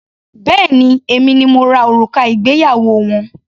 Béèni èmi ni mo rà òrùka ìgbéyàwó wọn.